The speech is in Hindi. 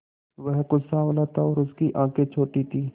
वह कुछ साँवला था और उसकी आंखें छोटी थीं